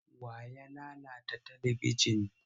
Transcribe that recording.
Wa ya lalata talibijin?